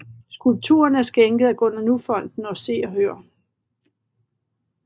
Skulpturen er skænket af Gunnar Nu Fonden og Se og Hør